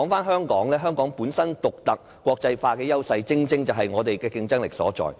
香港本身獨特、國際化的優勢，正正是我們競爭力所在。